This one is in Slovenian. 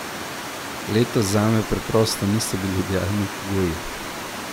Letos zame preprosto niso bili idealni pogoji.